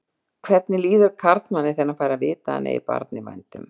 Hvernig líður karlmanni þegar hann fær að vita að hann eigi barn í vændum?